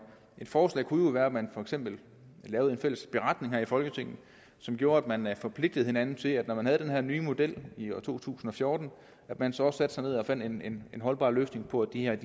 forslag kunne jo være at man for eksempel lavede en fælles beretning her i folketinget som gjorde at man man forpligtede hinanden til når man havde den her nye model i to tusind og fjorten at man så også satte sig ned og fandt en en holdbar løsning på det her